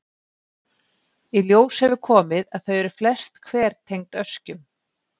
Í ljós hefur komið að þau eru flest hver tengd öskjum.